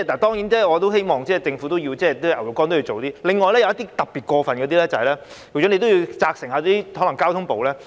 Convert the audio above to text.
當然，我希望政府會加強票控，另外，針對一些特別過分的情況，局長要責成交通部處理。